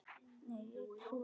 Nei, ég trúi þessu ekki.